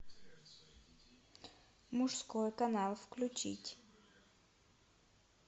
мужской канал включить